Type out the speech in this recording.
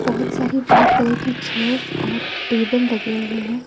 बहोत सारे white colour की चेयर्स और टेबल लगे हुए हैं।